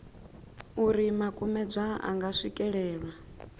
uri makumedzwa a nga swikelelwa